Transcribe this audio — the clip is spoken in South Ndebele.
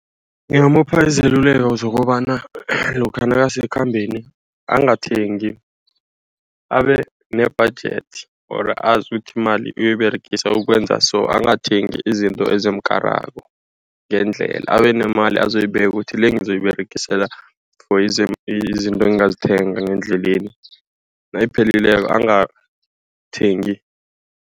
Ngingamupha izeluleko zokobana lokha nakasekhambeni. Angathengi abe ne-budget or azi ukuthi imali uyoyiberegisa ukwenza so. Angathengi izinto ezimukarako ngendlela, abe nemali azoyibeka ukuthi le ngizoyiberegisela for izinto engizozithenga ngendleleni nayiphelileko angathengi.